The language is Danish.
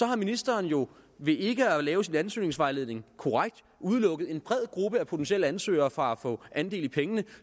har ministeren jo ved ikke at lave sin ansøgningsvejledning korrekt udelukket en bred gruppe af potentielle ansøgere fra at få andel i pengene